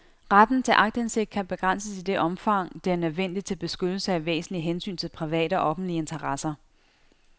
Retten til aktindsigt kan begrænses i det omfang, det er nødvendigt til beskyttelse af væsentlige hensyn til private og offentlige interesser.